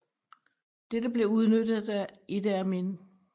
Dette blev udnyttet af Idi Amin